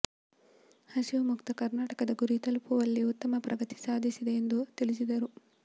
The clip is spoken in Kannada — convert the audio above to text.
ಹಸಿವು ಮುಕ್ತ ಕರ್ನಾಟಕದ ಗುರಿ ತಲುಪುವಲ್ಲಿ ಉತ್ತಮ ಪ್ರಗತಿ ಸಾಧಿಸಿದೆ ಎಂದು ತಿಳಿಸಿದರು